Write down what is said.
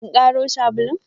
In karo sabulun?